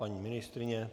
Paní ministryně?